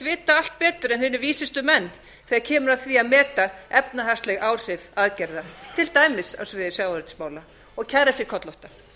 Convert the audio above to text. vita allt betur en hinir vísustu menn þegar kemur að því að meta efnahagsleg áhrif aðgerða til dæmis á sviði sjávarútvegsmála og kæra sig kollótta